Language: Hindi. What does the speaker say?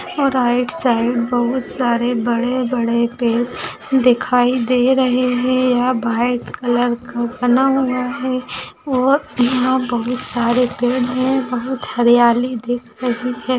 राईड साइड बहुत सारे बड़े-बड़े पेड़ दिखाई दे रहे है यहा व्हाइट कलर का बना हुआ है और यहा बहुत सारे पेड़ है बहुत हरियाली दिख रही है।